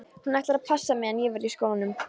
Hún ætlar að passa meðan ég verð í skólanum.